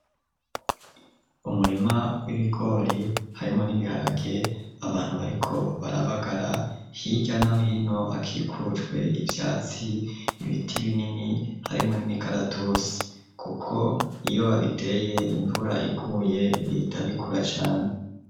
Umurima w'ibigori, harimwo n'ibiharage; abantu, bariko barabagara, hirya na hino, hakikujwe ivyatsi, ibiti binini, harimwo n'imikaratusi; kuko iyo babiteye, imvura iguye, bihita bikura cane.